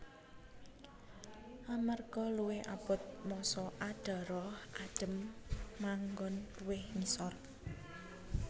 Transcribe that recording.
Amarga luwih abot massa adhara adhem manggon luwih ngisor